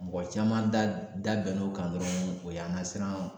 Mɔgɔ caman da bɛnn'o kan dɔrɔn o y'an ka siran.